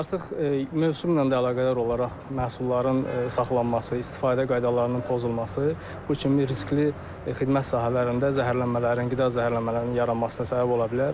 Artıq mövsümlə də əlaqədar olaraq məhsulların saxlanması, istifadə qaydalarının pozulması bu kimi riskli xidmət sahələrində zəhərlənmələrin, qida zəhərlənmələrinin yaranmasına səbəb ola bilər.